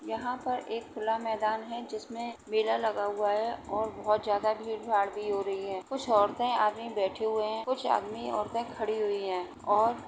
यहाँ पर एक खुला मैदान है जिसमे मेला लगा हुआ है और बहुत ज़्यादा भीड भाड भी हो रही है कुछ औरते आदमी बैठी हुए है कुछ आदमी औरते खड़ी हुए है। और --